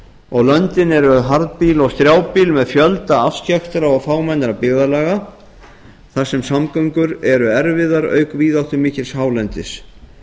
og löndin eru harðbýl og strjálbýl með fjölda afskekktra og fámennra byggðarlaga þar sem samgöngur eru erfiðar auk víðáttumikils hálendis